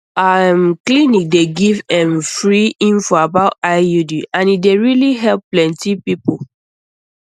our um clinic dey give ehm free info about iud and e dey really help plenty um people